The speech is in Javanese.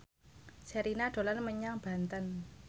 Sherina dolan menyang Banten